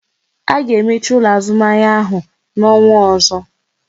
A ga emechi ụlọ azụmahịa ahụ n'ọnwa ọzọ